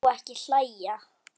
Ég má ekki hlæja.